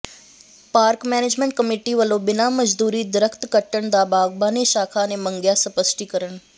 park management committee ਵਲੋਂ ਬਿਨਾਂ ਮਨਜ਼ੂਰੀ ਦਰੱਖ਼ਤ ਕੱਟਣ ਦਾ ਬਾਗਬਾਨੀ ਸ਼ਾਖਾ ਨੇ ਮੰਗਿਆ ਸਪਸ਼ਟੀਕਰਨ